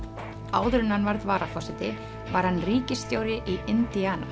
áður en hann varð varaforseti var hann ríkisstjóri í